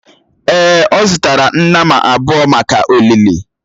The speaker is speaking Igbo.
Èè, a zụtara nnama abụọ maka olili.